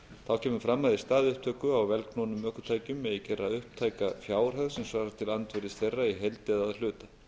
þá kemur fram að í stað upptöku á vélknúnum ökutækjum megi gera upptæka fjárhæð sem svarar til andvirðis þeirra í heild eða að hluta